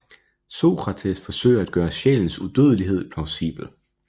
Sokrates forsøger at gøre sjælens udødelighed plausibel